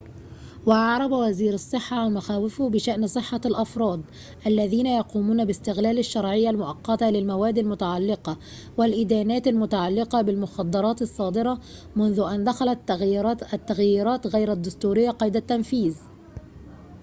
وأعرب وزير الصحة عن مخاوفه بشأن صحة الأفراد الذين يقومون باستغلال الشرعية المؤقّتة للمواد المتعلقة والإدانات المتعلقة بالمخدرات الصادرة منذ أن دخلت التغييرات غير الدستورية قيد التنفيذ